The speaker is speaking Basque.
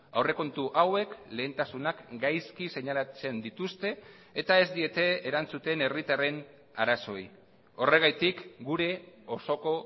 aurrekontu hauek lehentasunak gaizki seinalatzen dituzte eta ez diete erantzuten herritarren arazoei horregatik gure osoko